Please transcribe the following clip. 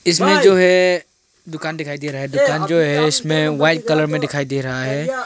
इसमें जो है दुकान दिखाई दे रहा है दुकान जो है इसमें वाइट कलर में दिखाई दे रहा है।